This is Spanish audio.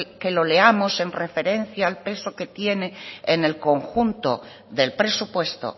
que lo leamos en referencia al peso que tiene en el conjunto del presupuesto